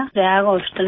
Prayag hospital में